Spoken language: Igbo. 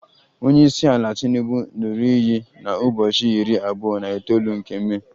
Onye isi ala tinubu ṅụrụ iyi na ubochi iri abuo na itoolu nke Mee